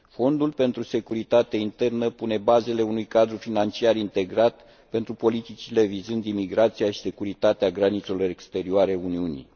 Fondul pentru securitate internă pune bazele unui cadru financiar integrat pentru politicile vizând imigrația și securitatea granițelor exterioare ale Uniunii.